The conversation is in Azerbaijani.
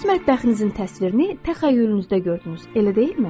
Siz öz mətbəxinizin təsvirini təxəyyülünüzdə gördünüz, elə deyilmi?